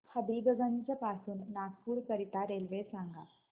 हबीबगंज पासून नागपूर करीता रेल्वे सांगा